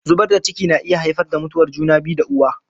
Zubar da ciki na iya haifar da mutuwar juna biyu da uwa.